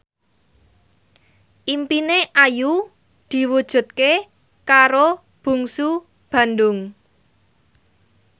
impine Ayu diwujudke karo Bungsu Bandung